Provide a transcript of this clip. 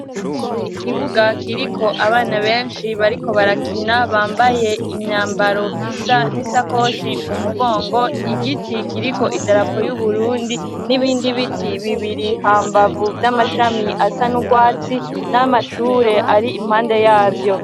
Ikibuga kiriko abana benshi bariko barakina bambaye imyambaro isa n'isakoshi mu mugongo igiti kiriko idarapo y'uburundi n'ibindi biti bibiri hambavu vy'amashami asa niugwatsi n'amashure ari impande yavyo.